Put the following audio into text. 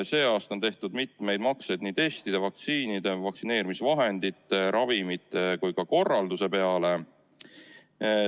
Sel aastal on tehtud mitmeid makseid nii testide, vaktsiinide, vaktsineerimisvahendite ja ravimite kui ka korralduse peale.